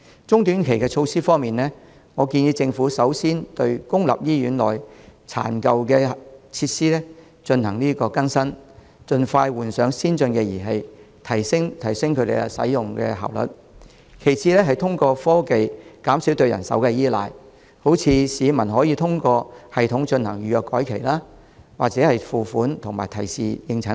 中短期措施方面，建議政府首先對公立醫院內殘舊的設施進行更新，盡快換上先進儀器，提升使用效率；其次是通過科技減少對人手的依賴，例如市民可以通過系統進行預約改期、付款及提示應診等。